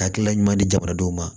Hakilina ɲuman di jamanadenw ma